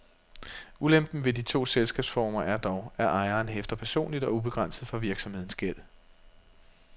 Ulempen ved de to selskabsformer er dog, at ejeren hæfter personligt og ubegrænset for virksomhedens gæld.